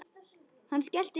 Hann skellti upp úr.